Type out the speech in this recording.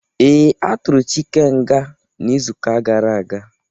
Ee, atụrụ Chike nga n'izuka gara aga